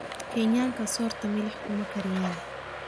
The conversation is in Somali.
Kenyaanka sorta milix kuma kariyaan